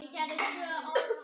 Hvar á maður að stoppa?